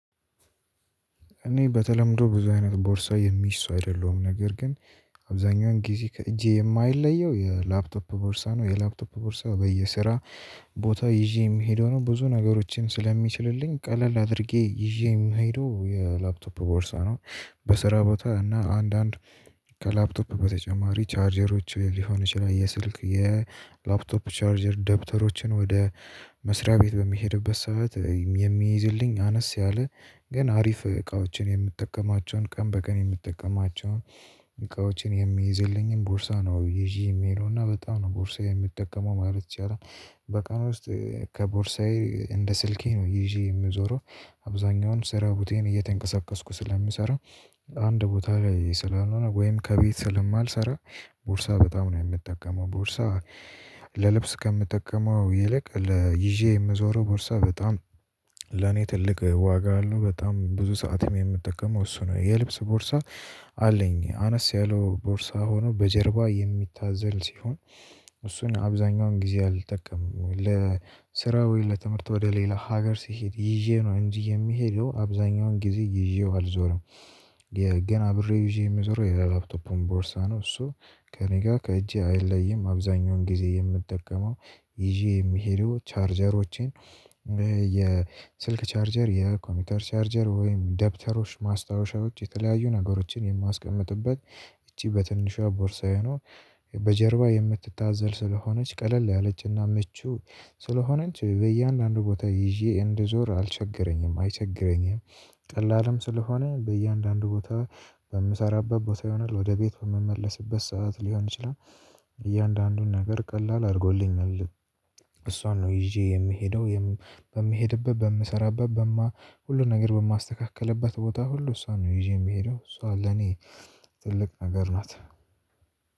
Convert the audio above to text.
እኔ በተለምዶ ብዙ አይነት ቦርሳ የሚስ አይደለሁም ነገር ግን አብዛኛውን ጊዜ ከእጄ የማይለየው የላፕቶፕ ቦርሳ ነው የላፕቶፕ ቦርሳው በየስራ ቦታ ይዤ የምሄደው ነው ብዙ ነገሮችን ስለሚችልልኝ ቀለል አድርጌ ይዤ ምሄደው የላፕቶፕ ቦርሳ ነው። በስራ ቦታ እና አንዳንድ ከላፕቶፕ በተጨማሪ ቻርጀሮች ሊሆን ይችላል የስልክ የላፕቶፕ ቻርጀር ደብተሮችን ወደ መስሪያ ቤት በሚሄድበት ሰዓት የሚይዝልኝ አነስ ያለ ግን አሪፍ እቃዎችን የምትጠቀማቸውን ቀን በቀን የምትጠቀማቸውን እቃዎችን የሚይዝልኝን ቦርሳ ነው ይዤ የሚሄደውና በጣም ነው ቦርሳዬ የሚጠቀመው ማለት ይችላል በቀን ውስጥ ከቦርሳዬ እንደ ስልኬ ነው ይዤ የምዞረው አብዛኛውንም ስራ ቦቷን እየተንቀሳቀስኩ ስለሚሰራ አንድ ቦታ ላይ ስላል ሆነ ወይም ከቤት ስለማልሰራ ቦርሳ በጣም ነው የምጠቀመው ቦርሳ ለልብስ ከምጠቀመው ይልቅ ለይዤ የምዞረው ቦርሳ በጣም ለኔ ትልቅ ዋጋ አለው በጣም ብዙ ሰዓትም የምጠቀመው እሱ ነው የልብስ ቦርሳ አለኝ አነስ ያለው ቦርሳ ሆኖ በጀርባ የሚታዘል ሲሆን እሱን አብዛኛውን ጊዜ አልጠቀምም ለስራው ለትምህርት ወደ ሌላ ሀገር ሲሄድ ይዤ ነው እንጂ የሚሄደው አብዛኛውን ጊዜ ይዤው አልዞረም። ገና አብሬ ይዤ የምዞረው የላፕቶፑን ቦርሳ ነው እሱ ከእኔ ጋር ከእጄ አይለይም አብዛኛውን ጊዜ የምጠቀመው ይዤ የሚሄዱ ቻርጀሮቼን የስልክ ቻርጀር የኮምፒውተር ቻርጀር ወይም ደብተሮች ማስታወሻዎች የተለያዩ ነገሮችን የማስቀምጥበት እቺ በትንሿ ቦርሳ የሆኑ በጀርባ የምትታዘል ስለሆነች ቀለል ያለችና ምቹ ስለሆነች በእያንዳንዱ ቦታ ይዤ እንድዞር አልቸገረኝም አይቸገረኝም ቀላልም ስለሆነ በእያንዳንዱ ቦታ በምሰራበት ቦታ ይሆናል ወደ ቤት በምመለስበት ሰዓት ሊሆን ይችላል። እያንዳንዱን ነገር ቀላል አድርጎልኛል እሷን ነው ይዤ የምሄደው በምሄድበት በምሰራበት በማ ሁሉን ነገር በማስተካከልበት ቦታ ሁሉ እሷን ነው ይዤ ምሄደው እሷ ለኔ ትልቅ ነገር ናት።